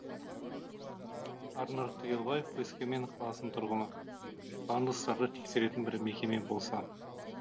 арнұр түгелбаев өскемен қаласының тұрғыны пандустарды тексеретін бір мекеме болса